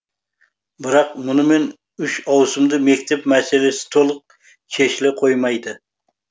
бірақ мұнымен үш ауысымды мектеп мәселесі толық шешіле қоймайды